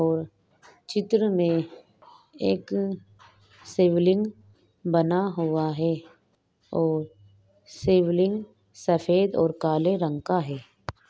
और चित्र मे एक शिवलिंग बना हुआ है और शिवलिंग सफेद और काले रंग का है।